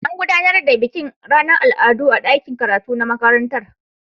An gudanar da bikin ranar al'adu a dakin karatu na makarantar.